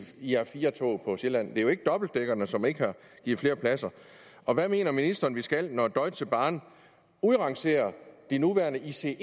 ir4 tog på sjælland det er jo ikke dobbeltdækkerne som ikke giver flere pladser og hvad mener ministeren vi skal når deutsche bahn udrangerer de nuværende ice